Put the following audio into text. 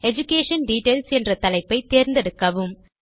education details என்ற தலைப்பை தேர்ந்தெடுக்கவும்